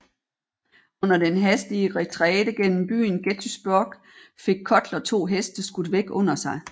Under den hastige retræte gennem byen Gettysburg fik Cutler to heste skudt væk under sig